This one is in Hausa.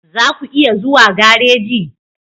Za ku iya zuwa gareji?